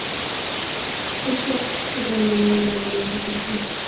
Sochga oq tushishi bilan namoyon bo‘ladigan kasalliklar.